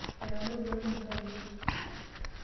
Etamorutua namuka ainei.